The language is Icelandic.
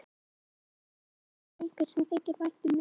Þess vegna vil ég óska mér einhvers sem þykir vænt um mig.